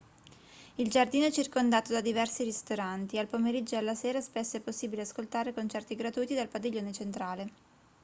il giardino è circondato da diversi ristoranti al pomeriggio e alla sera spesso è possibile ascoltare concerti gratuiti dal padiglione centrale